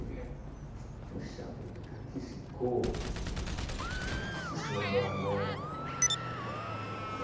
É. Puxa vida, cara, que ficou... É difícil lembrar agora.